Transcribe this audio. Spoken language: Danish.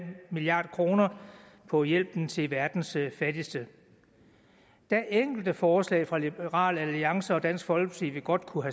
milliard kroner på hjælpen til verdens fattigste der er enkelte forslag fra liberal alliance og dansk folkeparti vi godt kunne